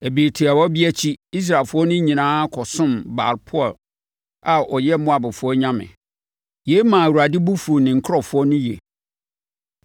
Ɛberɛ tiawa bi akyi, Israelfoɔ no nyinaa kɔsom Baal-peor a ɔyɛ Moabfoɔ nyame. Yei maa Awurade bo fuu ne nkurɔfoɔ no yie.